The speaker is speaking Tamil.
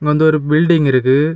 வந்து ஒரு பில்டிங் இருக்கு.